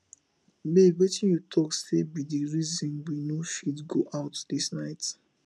babe wetin you talk say be the reason we no fit go out this night